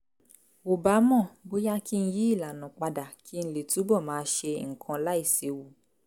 ò bá mọ̀ bóyá kí n yí ìlànà padà kí n lè túbọ̀ máa ṣe nǹkan láìséwu